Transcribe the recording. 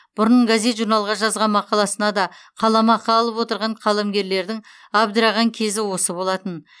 бұрын газет журналға жазған мақаласына да қаламақы алып отырған қаламгерлердің абдыраған кезі осы болатын